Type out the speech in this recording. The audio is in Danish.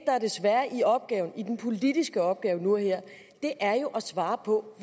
er det svære i den politiske opgave nu og her er jo at svare på